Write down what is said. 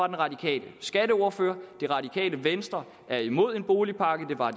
den radikale skatteordfører det radikale venstre er imod en boligpakke det var